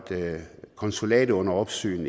konsulatet under opsyn